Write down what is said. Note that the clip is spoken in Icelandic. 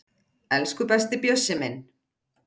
Elsku besti Bjössi minn.